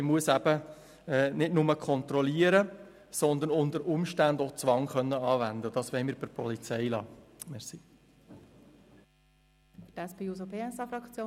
Man müsste dann nicht nur kontrollieren, sondern unter Umständen auch Zwang anwenden können, und das wollen wir bei der Polizei belassen.